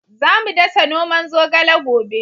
Za mu dasa noman zogale gobe